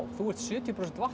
þú ert sjötíu prósent vatn